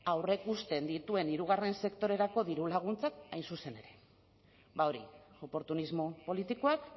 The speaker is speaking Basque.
aurreikusten dituen hirugarren sektorerako dirulaguntzak hain zuzen ere ba hori oportunismo politikoak